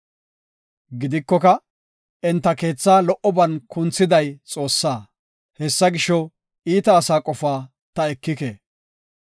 Gidikoka, enta keetha lo77oban kunthiday Xoossaa; Hessa gisho, iita asaa qofaa ta ekike.